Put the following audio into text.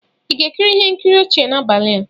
Ị ga-ekiri ihe nkiri ọchị n'abalị a?